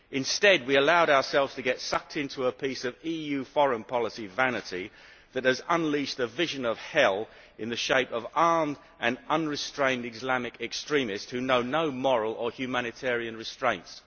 Instead, we allowed ourselves to get sucked into a piece of EU foreign policy vanity that has unleashed a vision of hell in the shape of armed and unrestrained Islamic extremists who know no moral or humanitarian restraints.